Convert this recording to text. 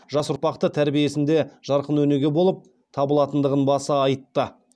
жас ұрпақты тәрбиесінде жарқын өнеге болып табылатындығын баса айтты